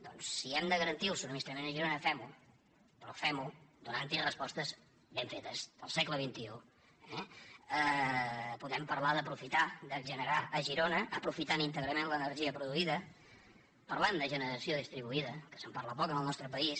doncs si hem de garantir el subministrament a girona fem ho però femho donant t’hi respostes ben fetes del segle dem parlar d’aprofitar de generar a girona aprofitant íntegrament l’energia produïda parlem de generació distribuïda que se’n parla poc en el nostre país